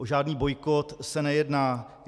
O žádný bojkot se nejedná.